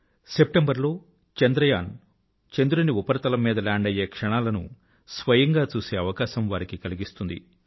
September లో చంద్రయాన్ చంద్రుని ఉపరితలం మీద లాండ్ అయ్యే క్షణాలను స్వయం గా చూసే అవకాశం వారికి కలిగిస్తుంది